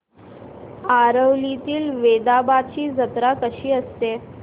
आरवलीतील वेतोबाची जत्रा कशी असते